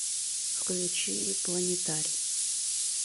включи планетари